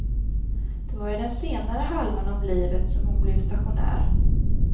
Det var i den senare halvan av livet som hon blev stationär.